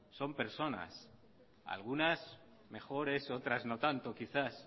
son personas algunas mejores otras no tanto quizás